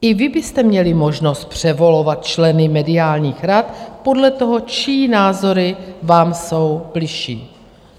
I vy byste měli možnost převolovat členy mediálních rad podle toho, čí názory vám jsou bližší.